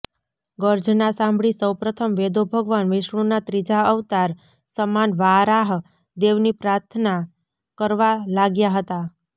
ગર્જના સાંભળી સૌપ્રથમ વેદો ભગવાન વિષ્ણુંના ત્રીજા અવતાર સમાન વારાહ દેવની પ્રાથના કરવા લાગ્યા હતા